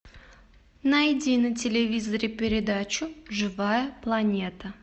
найди на телевизоре передачу живая планета